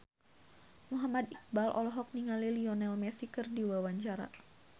Muhammad Iqbal olohok ningali Lionel Messi keur diwawancara